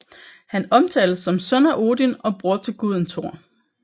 Han omtales som søn af Odin og bror til guden Thor